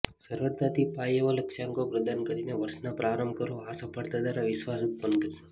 સરળતાથી પ્રાપ્ય એવા લક્ષ્યાંકો પ્રદાન કરીને વર્ષનો પ્રારંભ કરો આ સફળતા દ્વારા વિશ્વાસ ઉત્પન્ન કરશે